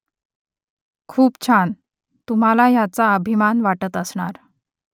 खूप छान . तुम्हाला याचा अभिमान वाटत असणार